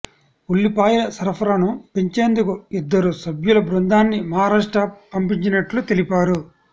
ఉల్లిపాయల సరఫరాను పెంచేందుకు ఇద్దరు సభ్యుల బృందాన్ని మహారాష్ట్ర పంపించినట్లు తెలిపారు